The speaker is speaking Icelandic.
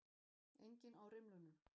Enginn á rimlunum.